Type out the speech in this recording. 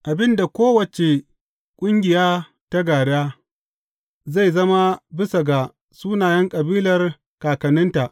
Abin da kowace ƙungiya ta gāda zai zama bisa ga sunayen kabilar kakanninta.